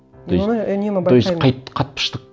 мен оны үнемі байқаймын то есть